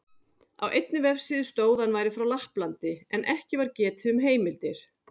Á einni vefsíðu stóð að hann væri frá Lapplandi, en ekki var getið um heimildir.